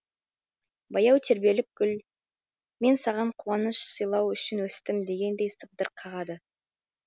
баяу тербелген гүл мен саған қуаныш сыйлау үшін өстім дегендей сыбдыр қағады